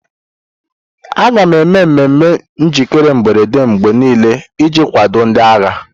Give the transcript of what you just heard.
A ga-eme mmemme njikere mberede mgbe niile iji kwado ndị agha.